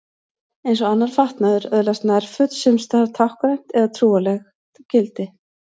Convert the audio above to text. En eins og annar fatnaður öðlast nærföt sums staðar táknrænt eða trúarlegt gildi.